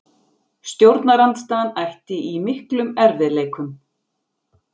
Stjórnarandstaðan ætti í miklum erfiðleikum